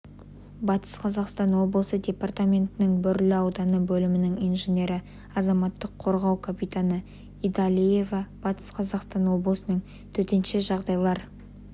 батыс қазақстан облысы департаментінің бөрлі ауданы бөлімінің инженері азаматтық қорғау капитаны идалиева батыс қазақстан облысы төтенше жағдайлар